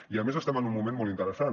i a més estem en un moment molt interessant